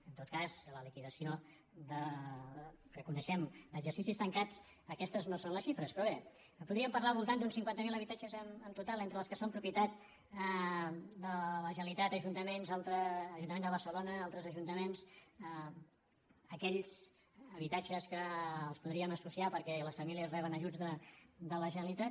en tot cas en la liquidació que coneixem d’exercicis tancats aquestes no són les xifres però bé podríem parlar del voltant d’uns cinquanta mil habitatges en total entre els que són propietat de la generalitat ajuntament de barcelona i altres ajuntaments aquells habitatges que els podríem associar perquè les famílies reben ajuts de la generalitat